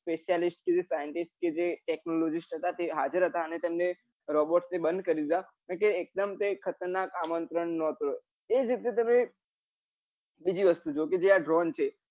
specialist કે જે scientist કે જે technologist હતા તે હાજર હતા ને robots ને બંદ કરી દીધા કે એક ડેમ તે ખતરનાક આમંત્રણ નો હતો એજ રીતે તમેં બીજી વસ્તુ જોવો કે જે આ ડ્રોન છે